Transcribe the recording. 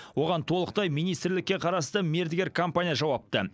оған толықтай министрлікке қарасты мердігер компания жауапты